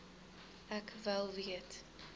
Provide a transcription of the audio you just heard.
ek wel weet